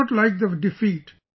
I didn't like the defeat